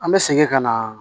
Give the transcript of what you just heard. An bɛ segin ka na